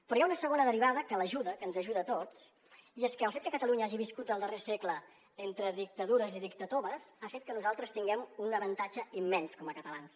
però hi ha una segona derivada que l’ajuda que ens ajuda a tots i és que el fet que catalunya hagi viscut el darrer segle entre dictadures i dictatoves ha fet que nosaltres tinguem un avantatge immens com a catalans